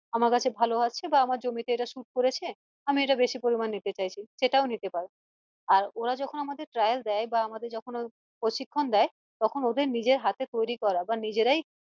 আমার কাছে ভালো আছে বা আমার জমিতে এটা suit করেছে আমি এটা বেশি পরিমান নিতে চাইছি সেটাও নিতে পারো আর ওরা যখন আমাদের trial বা আমাদের যখন প্রশিক্ষণ দেয় তখন ওদের নিজের হাতে তৈরা করা বা নিজেদের